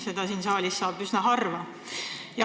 Seda saab siin saalis üsna harva.